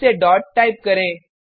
फिर से dot type करें